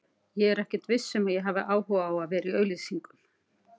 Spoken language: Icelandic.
Ég er ekkert viss um að ég hafi áhuga á að vera í auglýsingum.